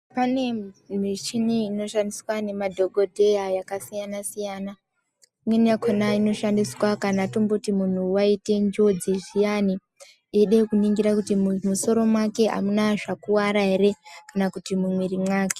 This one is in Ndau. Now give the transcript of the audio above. Pane michini inoshandiswa nemadhokoteya yakasiyana siyana imweni yakona inoshandiswa kana tomboti munhu aita njodzi zviyani eida kuningira kuti musoro wake amuna zvakuwara ere kana kuti mumwiri mwake.